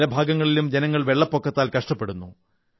പല ഭാഗങ്ങളിലും ജനങ്ങൾ വെള്ളപ്പൊക്കത്താൽ കഷ്ടപ്പെടുന്നു